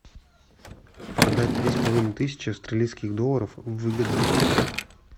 продать две с половиной тысячи австралийских долларов выгодно